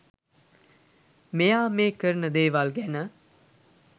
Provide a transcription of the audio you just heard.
මෙයා මේ කරන දේවල් ගැන